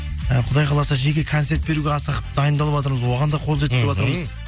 і құдай қаласа жеке концерт беруге асығып дайындалыватырмыз оған да қол жеткізіватырмыз мхм